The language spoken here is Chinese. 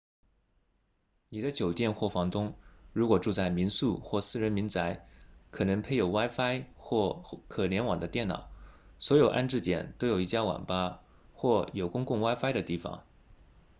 你的酒店或房东如果住在民宿或私人民宅可能配有 wifi 或可联网的电脑所有安置点都有一家网吧或有公共 wifi 的地方